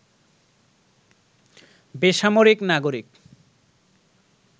বেসামরিক নাগরিক